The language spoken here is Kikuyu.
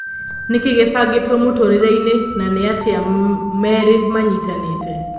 Nĩkĩĩ gĩbangĩtwo mũtũrĩreinĩ na nĩatĩa merĩ manyitanĩte ?